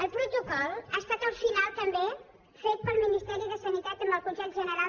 el protocol ha estat al final també fet pel ministeri de sanitat amb el consell general